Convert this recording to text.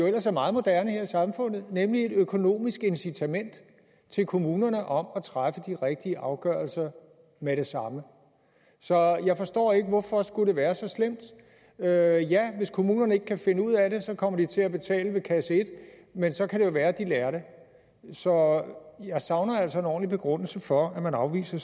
ellers er meget moderne her i samfundet nemlig et økonomisk incitament til kommunerne om at træffe de rigtige afgørelser med det samme så jeg forstår ikke hvorfor det skulle være så slemt ja ja hvis kommunerne ikke kan finde ud af det kommer de til at betale ved kasse et men så kan det jo være at de lærer det så jeg savner altså en ordentlig begrundelse for at man afviser